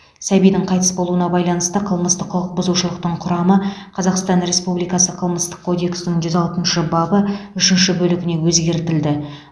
сәбидің қайтыс болуына байланысты қылмыстық құқық бұзушылықтың құрамы қазақстан республикасы қылмыстық кодексінің жүз алтыншы бабы үшінші бөлігіне өзгертілді